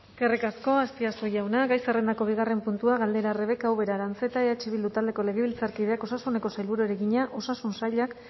eskerrik asko azpiazu jauna gai zerrendako bigarren puntua galdera rebeka ubera aranzeta eh bildu taldeko legebiltzarkideak osasuneko sailburuari egina osasun sailak